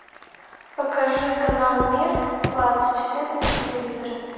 покажи канал мир двадцать четыре на телевизоре